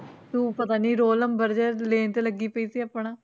ਤੂੰ ਪਤਾ ਨੀ ਰੋਲ number ਜਿਹਾ ਲੈਣ ਤੇ ਲੱਗੀ ਪਈ ਸੀ ਆਪਣਾ